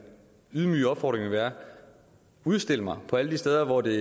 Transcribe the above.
ydmyge opfordring vil være udstil mig alle de steder hvor det